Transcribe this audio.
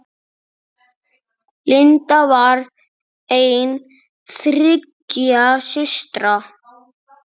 Linda var ein þriggja systra.